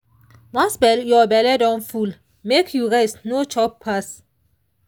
once your belle don full make you rest no chop pass.